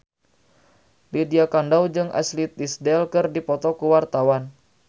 Lydia Kandou jeung Ashley Tisdale keur dipoto ku wartawan